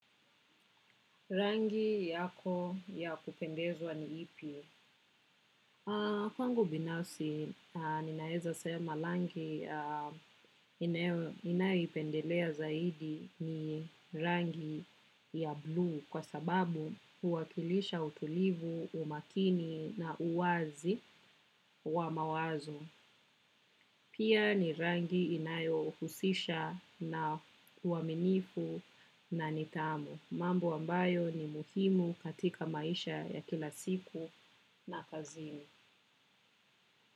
Rangi yako ya kupendezwa ni ipi? Kwangu binafsi, ninaeza sema rangi ninayoipendelea zaidi ni rangi ya blue kwa sababu huwakilisha utulivu, umakini na uwazi wa mawazo. Pia ni rangi inayo husisha na uwaminifu na ni tamu. Mambo ambayo ni muhimu katika maisha ya kila siku na kazini.